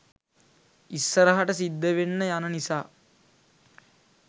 ඉස්සරහට සිද්ධවෙන්න යන නිසා.